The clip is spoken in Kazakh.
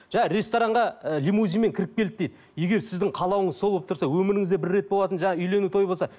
жаңа ресторанға і лимузинмен кіріп келді дейді егер сіздің қалауыңыз сол болып тұрса өміріңізде бір рет болатын жаңа үйлену той болса